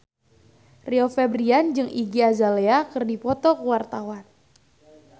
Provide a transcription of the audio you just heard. Rio Febrian jeung Iggy Azalea keur dipoto ku wartawan